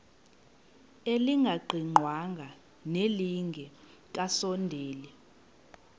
elingaqingqwanga nelinge kasondeli